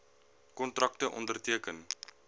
kontrakte onderteken